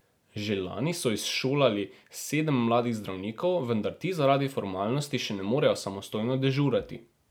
Že lani so izšolali sedem mladih zdravnikov, vendar ti zaradi formalnosti še ne morejo samostojno dežurati.